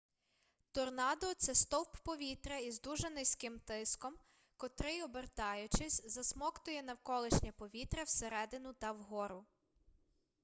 торнадо це стовп повітря із дуже низьким тиском котрий обертаючись засмоктує навколишнє повітря всередину та вгору